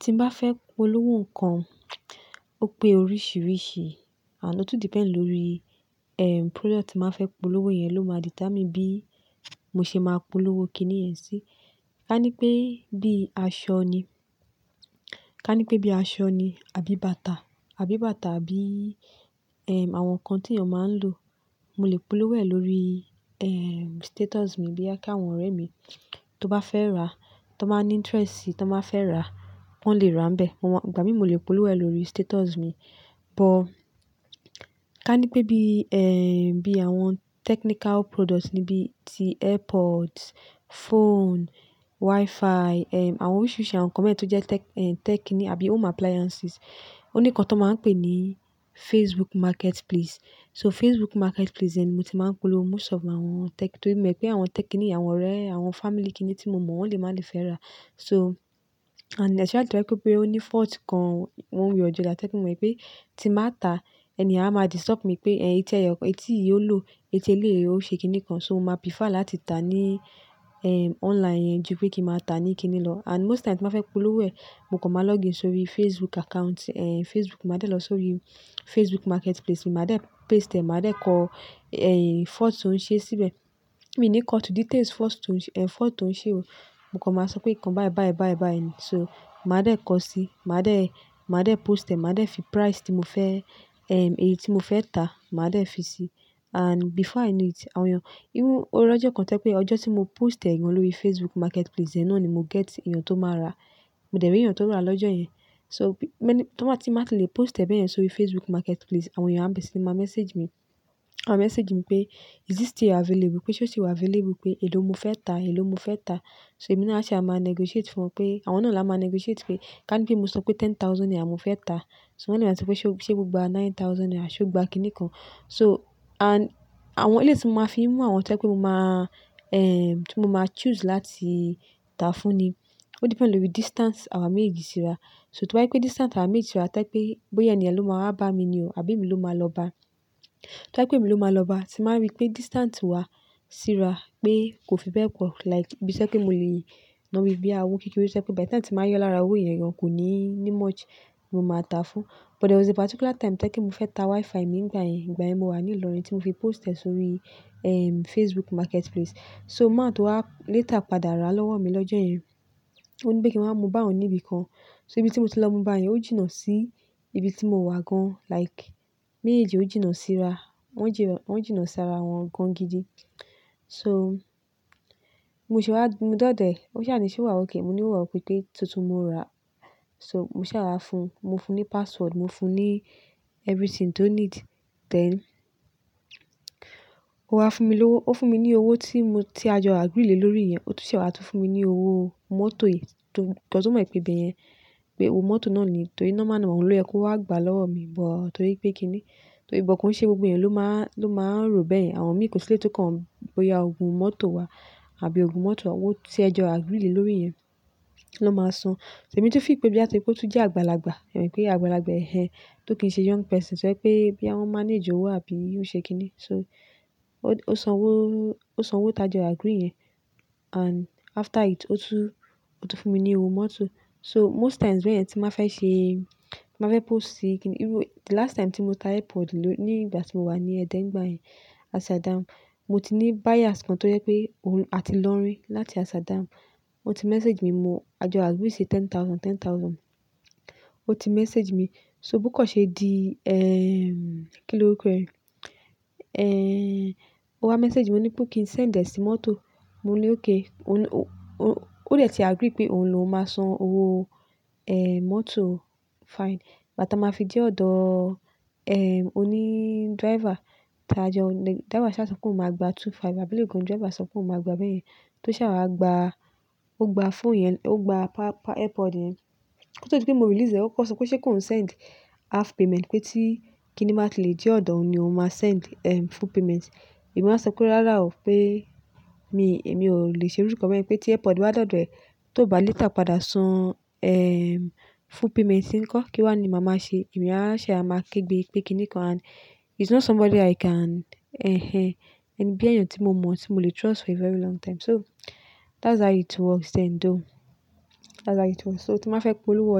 Ti n bá fẹ́ polówó nǹkan, ó pé oríṣiríṣi. Ànd o tun depend lórí, ehm, product ti n ba fẹ́ polówó yẹn ló máa determine bí mo ṣe máa polówó kiní yẹn sí. Ká ní pé bí aṣọ ni, ká ní pé bí aṣọ ni àbí bàtà, àbí bàtà àbí, ehm, àwọn nǹkan tí èèyàn máa ń lò, mo lè polówó ẹ̀ lórí, ehm, status mi boya kí àwọn ọ̀rẹ́ mi tó bá fẹ́ rà, tan bá ní interest si, tan ba fẹ́ rà, wọ́n lè rà n bẹ́. Mo ma, ìgbà mí mo lè polówó ẹ̀ lórí status mi. Bọ́ ká ní pé bí, ehn, bí àwọn technical products ní bíi ti AirPods, phone, Wi-Fi, ehm, àwọn oríṣiríṣi àwọn nǹkan beyen tó jẹ́ tech-- ehm, tech kini àbí home appliances, ó ní nǹkan tan máa ń pè ní Facebook Marketplace. So Facebook Marketplace yẹn ni mo ti máa ń polówó most of àwọn tech. Torí mo mọ̀ pé àwọn tech kini yen àwọn ọ̀rẹ́, àwọn family kiní tí mo mọ̀ wọ́n lè máa le fẹ́ rà. So and especially tó bá pẹ́ ó ní fault kan, wọ́n ń wí ọjà tech mo mọ̀ pé tí màá ta, ènìyàn á máa disturb mi pé, "Ẹ̀yin, étè yọ̀ kan, etí yìí ó lò, etí eléèyè ó ṣe kiní kan." So mo máa prefer láti ta ní, ehm, online yẹn ju pé kí màá ta ní kiní lọ. And most times tí màá fẹ́ polówó ẹ̀, mo kọ̀ máa login sórí Facebook account, ehn, Facebook. Màá dẹ̀ lọ sórí Facebook Marketplace, màá dẹ̀ paste, màá dẹ̀ kọ, ehn, fault tó ń ṣe síbẹ̀. Mi ní cut to details first tó ń ṣe-- ehn, fault tó ń ṣe o. Mo kọ̀ máa sọ pé nǹkan bayi bayi bayi bayi. So màá dẹ̀ kọ sí, màá dẹ̀, màá dẹ̀ post ẹ̀, màá dẹ̀ fi price tí mo fẹ́, ehm, èyí tí mo fẹ́ ta, màá dẹ̀ fí sí. And before i know it, àwọn èèyàn, even ó rí ọjọ́ kan tẹ́kọ́ pé ọjọ́ tí mo post ẹ̀ yẹn lórí Facebook Marketplace, ẹnu òní mo get èèyàn tó máa rà. Mo dẹ̀ rí èèyàn tó rà lọ́jọ́ yẹn. So bi-- mẹ́ní-- tó bá tí màá ti lè post ẹ̀ bẹ́ẹ̀ yẹn sórí Facebook Marketplace, àwọn èèyàn á bẹ̀rẹ̀ síí máa message mi. A máa message mi pé, "Is this still available?" pé ṣé ó sì wà available pé, "Èló mo fẹ́ ta? Èló mo fẹ́ ta?" So èmi náà ṣé a máa negotiate fún un pé àwọn náà làá máa negotiate pé ká ní pé mo sọ pé ten thousand naira mo fẹ́ ta, ṣó nílẹ̀ tí pé ṣé ó ṣe gbogbo àá nine thousand naira ṣé ó gba kiní kan. So and àwọn eléyi tí mo máa fi mú àwọn tẹ́kọ́ pé mo máa, ehm, tí mo máa choose láti ta fún ni, ó depend lórí distance àwa méjèèjì síra. So tó bá pé distance àwa méjèèjì síra toye pé bóyá ènìyàn ló máa bá mi ni o àbí mi ló máa lọ bá. Tó bá pé mi ló máa lọ bá, tí màá rí pé distance wa síra pé kò fi bẹ́ẹ̀ pọ̀ like bí iṣẹ́ pé mo lè yín lọ́wọ́ bí i àwo kíkún, bí iṣẹ́ pé by the time tí màá yọ lára owó ẹ̀ yẹn, èèyàn kò ní ní much mo máa ta fún. But there was a particular time tẹ́kòó pé mo fẹ́ ta Wi-Fi mi nígbà yẹn. Ìgbà yẹn mo wà ní Ilorin tí mo fi post ẹ̀ sórí, ehm, Facebook Marketplace. So man tó wá later padà rà lọ́wọ́ mi lọ́jọ́ yẹn. Ó ní pé kí n máa mú bá òun níbi kan. So ibi tí mo ti lọ mú bá yẹn ó jìnnà sí ibi tí mo wà gan. Like méjèèjì ó jìnnà síra. Wọ́n jì-- wọ́n jìnnà síra wọn gan gidi. So mo sì wá, mo dọ̀dẹ̀, ó sì hán ní ṣé ó wà okay. Mo ní ó wà okay pé tuntun mo rà. So mo sì rà fún un. Mo fún un ní password, mo fún un ní everything tó need. Then ó wá fún mi lówó. Ó fún mi ní owó tí mo-- tí a jọ agree lórí yẹn. Ó tún ṣe wà tó fún mi ní owó mọ́tò yìí tó-- torí ó mọ̀ pé ibẹ̀ yẹn pé owó mọ́tò náà ni. Torí normal àwọn ọ̀rẹ́ kó wá gbà lọ́wọ́ mi bọ̀ torí pé kiní. Torí ìbọn kò ń ṣe gbogbo èèyàn ló máa, ló máa rò bẹ́yẹn. Àwọn mìí kò sí ilé tó kan bóyá ògùn mọ́tò wà àbí ògùn mọ́tò, owó tí ẹ jọ agree lórí yẹn ló máa san. Emí tu feel pé bí àti pé ó tún jẹ́ àgbàlagbà, èmi pé àgbàlagbà èhẹ́n tó kì ń ṣe young person tẹ́kọ́ pé bí àwọn manage owó àbí ìrúnṣẹ́ kiní. So ó, ó san owó, ó san owó ta jọ agree yẹn and after it ó tún, ó tún fún mi ní owó mọ́tò. So most times bẹ̀yen tí màá fẹ́ ṣe, màá fẹ́ post kiní, even the last time tí mo ta AirPod ló-- ní ìgbà tí mo wà ní Ẹdẹ nígbà yẹn, Asada, mo ti ní buyers kan tó yẹ pé òun á ti lọ́rin láti Asada. Ó ti message mi, mo-- a jọ agree ṣe ten thousand, ten thousand. Ó ti message mi. So bó kọ̀ ṣe di, ehm, kí ni ó pe ẹ́? Ehn, ó wá message mi, ó ní pé kì í send ẹ sí mọ́tò. Mo ní okay. Ó ní ó, ó, ó dẹ̀ ti agree pé òun ló máa san owó, ehn, mọ́tò. Fine. Bà tí a máa fi dẹ́ odọ́, ehm, oní driver táa jẹ́ ọ-- driver ṣà sọ pé kò máa gbà two five àbí légun driver sọ pé kò máa gbà bẹ́ẹ̀ yẹn. Tó ṣà wá gba, ó gba phone yẹn, ó gba pa-pa AirPod yẹn. Tó ti pé mo release ẹ, ó kọ̀ sọ pé ṣé kó n send half payment pé tí kiní màá ti lè jẹ́ ọ̀dọ̀ún ni ó máa send, ehm, full payment. Èmi wáa sọ kúrò rárá o pé mi, èmi ò lè ṣe orúkọ bẹ́ẹ̀. Pé tí AirPod bá dọ̀dẹ̀ tó bá later padà san, ehm, full payment kọ́ kí wá ni màá máa ṣe. Èmi áa ṣe máa ké gbé pé kiní kan and he's not somebody i can, ehn, ehn, bí èèyàn tí mo mọ̀, tí mo lè trust for a very long time. So that's how it works and o. That's how it works. So tí màá fẹ́ polówó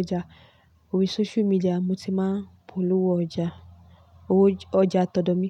ọjà orí social media, mo ti máa polówó ọjà, owó ọjà tọdọ mi.